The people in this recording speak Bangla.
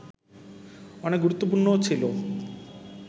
অনেক গুরুত্বপূর্ণও ছিল